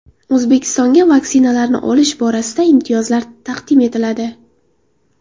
O‘zbekistonga vaksinalarni olish borasida imtiyozlar taqdim etiladi.